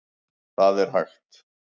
Þar er hægt að